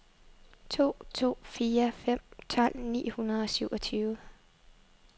to to fire fem tolv ni hundrede og syvogtyve